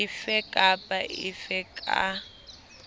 efe kapa efe e ka